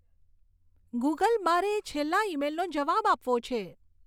Google મારે એ છેલ્લા ઈમેઈલનો જવાબ આપવો છે